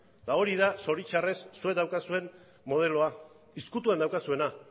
eta hori da zoritxarrez zuek daukazuen modeloa ezkutuan daukazuena